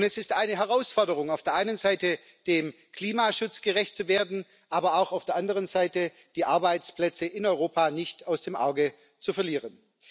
Es ist eine Herausforderung, auf der einen Seite dem Klimaschutz gerecht zu werden, aber auf der anderen Seite auch die Arbeitsplätze in Europa nicht aus den Augen zu verlieren.